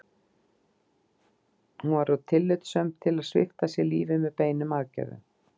Hún var of tillitssöm til að svipta sig lífi með beinum aðgerðum.